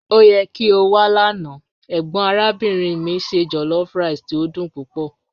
O yẹ ki o wa lana, egbon arabinrin mi se jollofrice ti o dun pupọ.